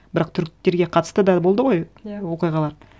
бірақ түріктерге қатысты да болды ғой иә оқиғалар